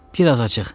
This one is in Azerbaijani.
Bir az açıq.